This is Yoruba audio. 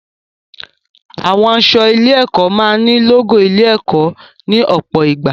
Àwọn aṣọ ilé-ẹ̀kọ́ máa ní lógò ilé-ẹ̀kọ́ ní ọ̀pọ̀ ìgbà.